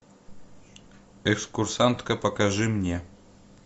экскурсантка покажи мне